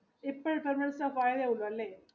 അല്ലെ?